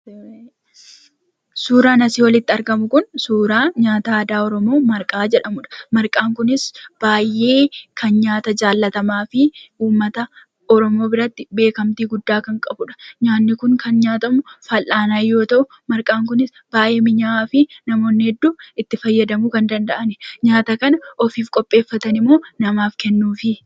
Suuraan asii olitti argamu kun, suuraa nyaata aadaa Oromoo "Marqaa" jedhamudha. Marqaan kunis baay'ee nyaata jaallatamaafi uummata Oromoo biratti beekamtii guddaa kan qabudha. Nyaanni kun kan nyaatamu fal'aanaan yoo ta'u, marqaan kunis minyaa'aafi namoonni hedduun kan itti fayyadamanidha. Nyaata kana ofiif qopheeffatan moo namaaf kennuufi?